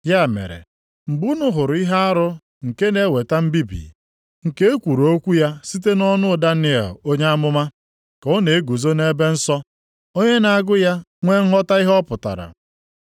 “Ya mere, mgbe unu hụrụ ihe arụ nke na-eweta mbibi, nke e kwuru okwu ya site nʼọnụ Daniel onye amụma, + 24:15 \+xt Dan 9:27; 11:31; 12:11\+xt* ka ọ na-eguzo nʼebe nsọ (onye na-agụ ya nwee nghọta ihe ọ pụtara).